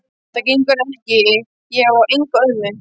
Það gengur ekki, ég á enga ömmu